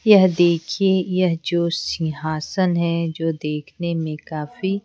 यह देखिए यह जो सिंहासन है जो देखने में काफी--